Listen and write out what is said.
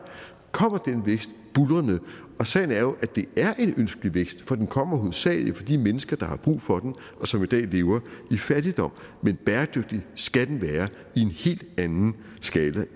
kommer den vækst buldrende og sagen er jo at det er en ønskelig vækst for den kommer hovedsagelig for de mennesker der har brug for den og som i dag lever i fattigdom men bæredygtig skal den være i en helt anden skala